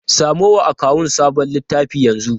Samo wa akawun sabon littafi yanzu!